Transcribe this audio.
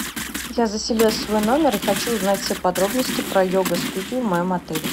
я заселилась в свой номер и хочу узнать все подробности про йога студию в моем отеле